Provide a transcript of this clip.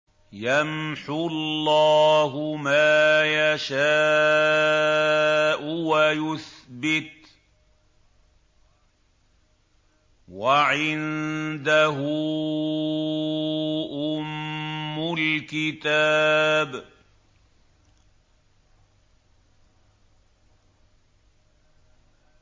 يَمْحُو اللَّهُ مَا يَشَاءُ وَيُثْبِتُ ۖ وَعِندَهُ أُمُّ الْكِتَابِ